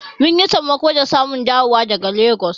Mun yi sammako da zamu dawo daga Legas.